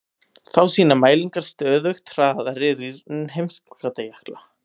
Þá sýna mælingar stöðugt hraðari rýrnun heimskautajökla.